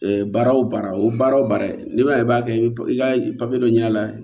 baara wo baara o baara o baara ye n'i ma i b'a kɛ i ka papiye dɔ ɲɛna